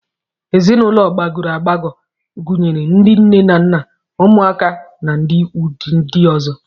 Ezinụlọ gbagọrọ agbagọ gunyere ndị nne na nna, ụmụaka na ndị ikwu ndị ọzọ